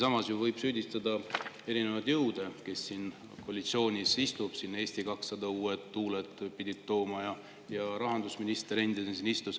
Samas võib ju süüdistada erinevaid jõude, kes koalitsioonis istuvad – siin Eesti 200 pidi tooma uued tuuled, ja endine rahandusminister on siin, enne istus saalis.